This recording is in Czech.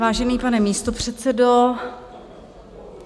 Vážený pane místopředsedo...